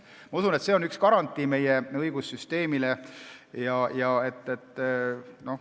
Ma usun, et see on meie õigussüsteemi üks garantiisid.